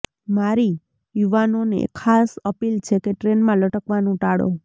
મારી યુવાનોને ખાસ અપીલ છે કે ટ્રેનમાં લટકવાનું ટાળો